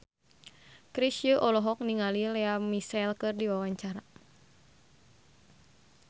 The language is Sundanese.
Chrisye olohok ningali Lea Michele keur diwawancara